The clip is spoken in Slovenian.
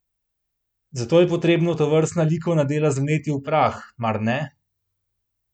Zato je potrebno tovrstna likovna dela zmleti v prah, mar ne?